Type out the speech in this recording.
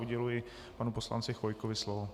Uděluji panu poslanci Chvojkovi slovo.